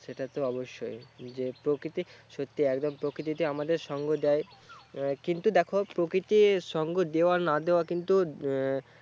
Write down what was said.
সেটাতো অবশ্যই, যে প্রকৃতি সত্যি একদম প্রকৃতিতে আমাদের সঙ্গে যায়। কিন্তু দেখো প্রকৃতির সঙ্গ দেওয়া না দেওয়া কিন্তু এর